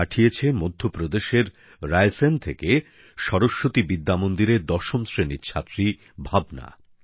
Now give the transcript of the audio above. পাঠিয়েছে মধ্যপ্রদেশের রায়সেন থেকে সরস্বতী বিদ্যামন্দিরের দশম শ্রেণীর ছাত্রী ভাবনা